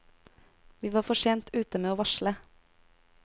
Vi var for sent ute med å varsle.